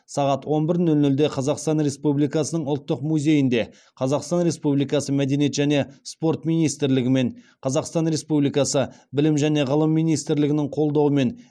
сағат он бір нөл нөлде қазақстан республикасының ұлттық музейінде қазақстан республикасы мәдениет және спорт министрлігі мен қазақстан республикасы білім және ғылым министрлігінің қолдауымен